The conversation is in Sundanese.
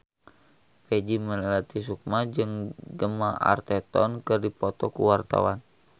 Peggy Melati Sukma jeung Gemma Arterton keur dipoto ku wartawan